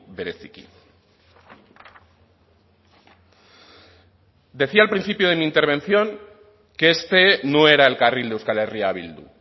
bereziki decía al principio de mi intervención que este no era el carril de euskal herria bildu